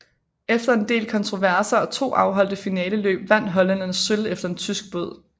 Efter en del kontroverser og to afholdte finaleløb vandt hollænderne sølv efter en tysk båd